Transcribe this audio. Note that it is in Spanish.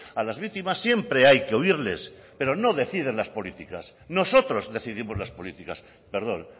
a las víctimas siempre hay que oírles pero no deciden las políticas nosotros decidimos las políticas perdón